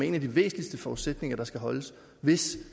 en af de væsentligste forudsætninger der skal holdes hvis